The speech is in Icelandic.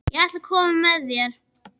Ég ætla að koma með þér!